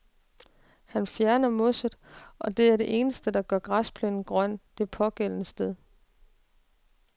Han fjerner mosset, og det er det eneste, der gør græsplænen grøn det pågældende sted.